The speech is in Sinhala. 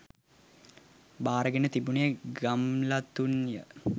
භාරගෙන තිබුණේ ගම්ලතුන් ය.